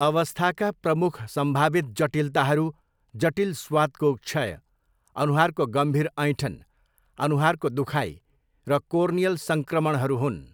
अवस्थाका प्रमुख सम्भावित जटिलताहरू जटिल स्वादको क्षय, अनुहारको गम्भीर ऐँठन, अनुहारको दुखाइ र कोर्नियल सङ्क्रमणहरू हुन्।